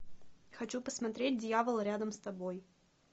хочу посмотреть дьявол рядом с тобой